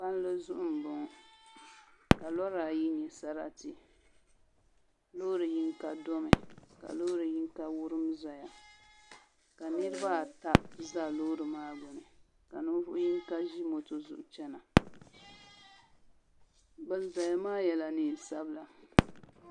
Palli zuɣu n bɔŋɔ ka lora ayi nyɛ sarati loori yinga domi ka loori yinga wurim ʒɛya ka niraba ata ʒɛ loori maa gbuni ka ninvuɣu yinga ʒi moto zuɣu chɛna bin ʒɛya maa yɛla neen sabila